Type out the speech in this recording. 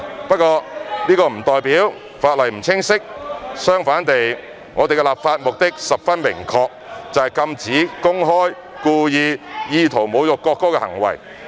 不過，這不代表法例不清晰，相反地，我們的立法目的十分明確，就是禁止公開、故意、意圖侮辱國歌的行為。